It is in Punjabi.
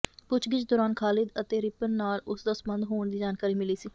ਪੁੱਛਗਿੱਛ ਦੌਰਾਨ ਖਾਲਿਦ ਅਤੇ ਰਿਪਨ ਨਾਲ ਉਸ ਦਾ ਸਬੰਧ ਹੋਣ ਦੀ ਜਾਣਕਾਰੀ ਮਿਲੀ ਸੀ